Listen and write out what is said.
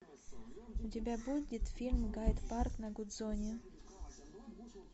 у тебя будет фильм гайд парк на гудзоне